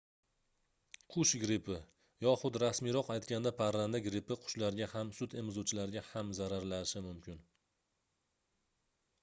qush grippi yoxud rasmiyroq aytganda parranda grippi qushlarga ham sutemizuvchilarga ham zararlashi mumkin